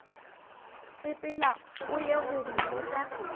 sepela o ye go mmotša